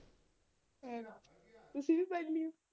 ਤੁਸੀ ਵੀ ਫੜ੍ਹ ਲਿਉ